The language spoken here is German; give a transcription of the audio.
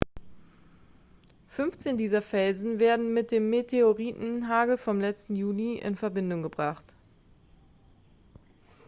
15 dieser felsen werden mit dem meteoritenhagel vom letzten juli in verbindung gebracht